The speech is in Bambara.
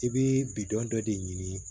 I bɛ bidɔn dɔ de ɲini